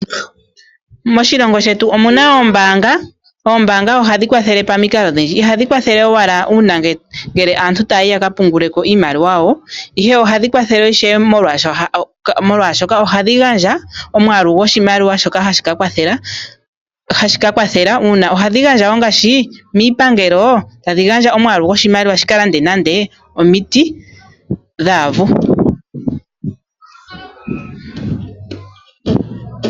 Moshilongo shetu omuna oombanga. Oombanga ohadhi kwathele pamikalo odhindji. Ihadhi kwathele owala una ngele aantu taya yi yaka pungule ko iimaliwa yawo, ihe ohadhi kwathele ishewe molwashoka ohadhi gandja omwaalu goshimaliwa shoka hashi ka kwathela. Ohadhi gandja wo ngaashi miipangelo tadhi gandja omwaalu goshimaliwa shika lande nande omiiti dhaavu.